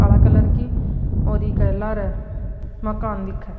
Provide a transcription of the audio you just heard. काला कलर की और इके लारे माकन दिखे है।